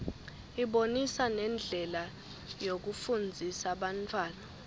ibonisa nendlela yokufundzisa bantfwana